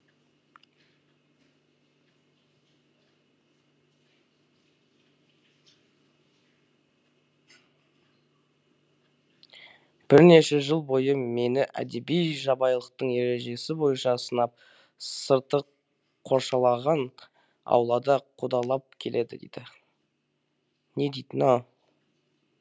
бірнеше жыл бойы мені әдеби жабайылықтың ережесі бойынша сынап сырты қоршалаған аулада қудалап келеді деді не дейді мынау